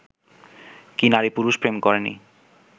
কি নারী-পুরুষ প্রেম করেনি